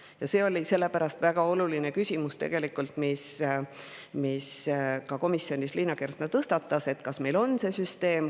Ja sellepärast on väga oluline küsimus, mille ka komisjonis Liina Kersna tõstatas, et kas meil on see süsteem.